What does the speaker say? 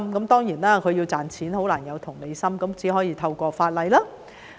當然，他們要賺錢便難有同理心，只可以透過法例來做。